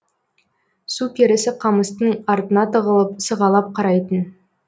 су перісі қамыстың артына тығылып сығалап қарайтын